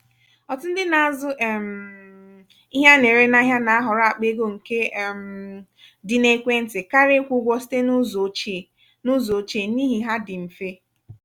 ọtụtụ ndị na-azu um ihe ana-ere n'ahịa na-ahọrọ akpa ego nke um dị n'ekwentị karịa ikwụ ụgwọ site n'ụzọ ochie n'ụzọ ochie n'ihi ha dị mfe.